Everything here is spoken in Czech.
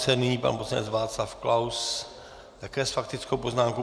Nyní pan poslanec Václav Klaus také s faktickou poznámkou.